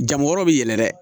Jango yɔrɔ bi yɛlɛ dɛ